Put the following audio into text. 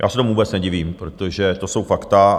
Já se tomu vůbec nedivím, protože to jsou fakta.